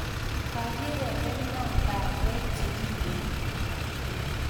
Kakirepana bandek che kingoe